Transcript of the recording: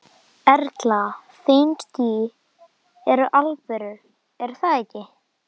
Erla: Þín ský eru alvöru er það ekki?